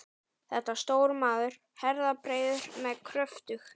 Þetta var stór maður, herðabreiður með kröftug